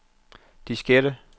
diskette